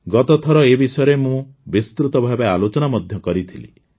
ଗତଥର ଏ ବିଷୟରେ ମୁଁ ବିସ୍ତୃତ ଭାବେ ଆଲୋଚନା ମଧ୍ୟ କରିଥିଲି